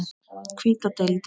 Hvíta deildin